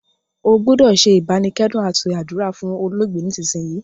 O gbúdò se ìbánikẹ́dùn àti àdúrà fún olóògbé nísinsìnyì